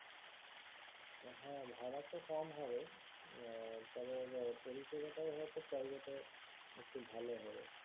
হ্যাঁ ভাড়া তো কম হবে হম তবে পরিষেবাটাও হয়তো private এ একটু ভালো হবে